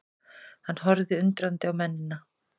Hann horfði undrandi á mennina.